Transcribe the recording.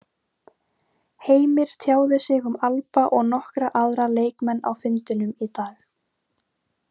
Heimir tjáði sig um Alba og nokkra aðra leikmenn á fundinum í dag.